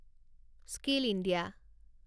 skill India